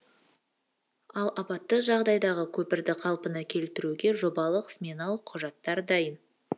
ал апатты жағдайдағы көпірді қалпына келтіруге жобалық сметалық құжаттар дайын